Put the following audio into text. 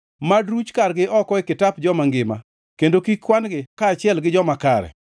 Mad ruch kargi oko e kitap joma ngima kendo kik kwan-gi kaachiel gi joma kare.